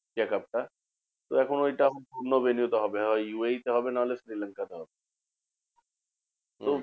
Asia cup টা তো এখন ঐটা অন্য হবে না হয় ইউ এ ই তে হবে নাহলে শ্রীলঙ্কা তে হবে। তো